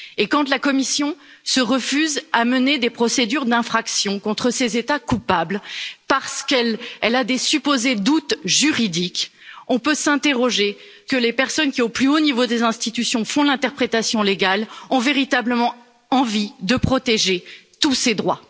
Et quand la Commission se refuse à mener des procédures d'infraction contre ces États coupables, parce qu'elle a des supposés doutes juridiques, nous pouvons nous interroger les personnes qui, au plus haut niveau des institutions, font l'interprétation légale ont elles véritablement envie de protéger tous ces droits?